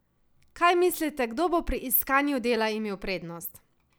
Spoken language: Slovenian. Kaj mislite, kdo bo pri iskanju dela imel prednost?